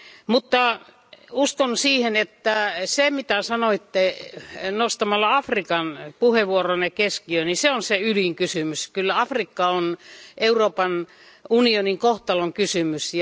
Mutta uskon siihen, että se, mitä sanoitte nostamalla Afrikan puheenvuoronne keskiöön, niin se on se ydinkysymys. Kyllä Afrikka on Euroopan unionin kohtalonkysymys.